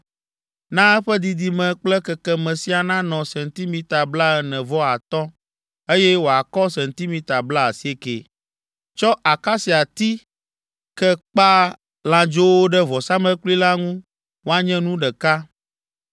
Na eƒe didime kple kekeme siaa nanɔ sentimita blaene-vɔ-atɔ̃, eye wòakɔ sentimita blaasiekɛ. Tsɔ akasiati ke kpa lãdzowo ɖe vɔsamlekpui la ŋu woanye nu ɖeka.